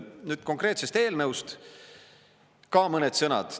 Nüüd konkreetsest eelnõust ka mõned sõnad.